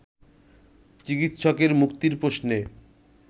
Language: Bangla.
চিকিৎসকের মুক্তির প্রশ্নে